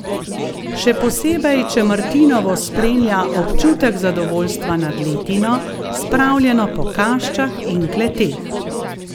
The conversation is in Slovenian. Še posebej če martinovo spremlja občutek zadovoljstva nad letino, spravljeno po kaščah in kleteh.